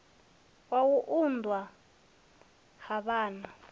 wa u unḓwa ha vhana